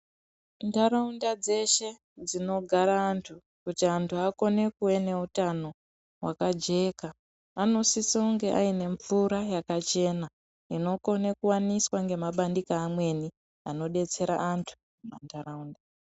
Muntaraunda dzeshe dzinogara antu kuti antu akone kuve neutano hwakajeka. Vanosise kunge vaine mvura yakachena inokona kuwaniswa nemabandiko amweni anodetsera antu muntaraunda.